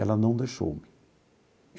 Ela não deixou-me.